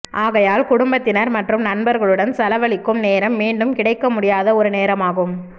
ஆகையால் குடுபத்தினர் மற்றும் நண்பர்களுடன் செலவழிக்கும் நேரம் மீண்டும் கிடைக்க முடியாத ஒரு நேரமாகும்